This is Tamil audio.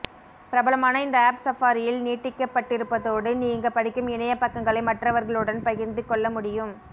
பிரபலமான இந்த ஆப் சஃபாரியில் நீட்டிக்கப்பட்டிருப்பதோடு நீங்க படிக்கும் இணைய பக்கங்களை மற்றவர்களுடன் பகிரந்து கொள்ள முடியும்